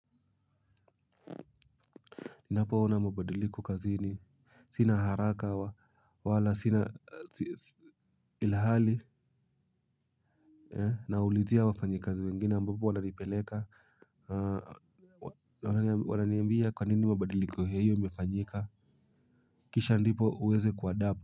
Ninapo ona mabadiliko kazini sina haraka wala sina ilhali naulizia wafanyakazi wengine ambapo wananipeleka wananiambia kwanini mabadiliko ya hiyo imefanyika. Kisha ndipo uweze kuadapt.